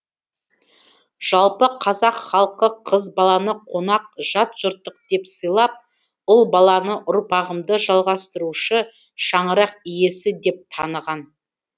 жалпы қазақ халқы қыз баланы қонақ жат жұрттық деп сыйлап ұл баланы ұрпағымды жалғастырушы шаңырақ иесі деп таныған